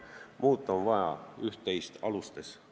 Muuta on vaja üht-teist oma poliitika alustes.